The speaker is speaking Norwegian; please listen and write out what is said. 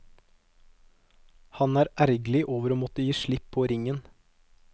Han er ergerlig over å måtte gi slipp på ringen.